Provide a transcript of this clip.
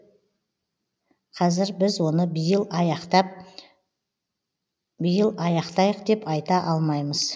қазір біз оны биыл аяқтап биыл аяқтайық деп айта алмаймыз